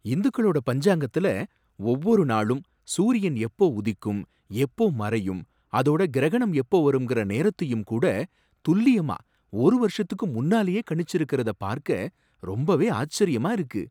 இந்துக்களோட பஞ்சாங்கத்துல ஒவ்வொருநாளும் சூரியன் எப்போ உதிக்கும், எப்போ மறையும் அதோட கிரகணம் எப்போ வருங்கற நேரத்தையும் கூட துல்லியமா ஒரு வருஷத்துக்கு முன்னாலயே கணிச்சிருக்கிறத பார்க்க ரொம்பவே ஆச்சரியமா இருக்கு.